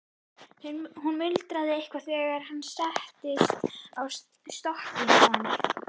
Hún muldraði eitthvað þegar hann settist á stokkinn hjá henni.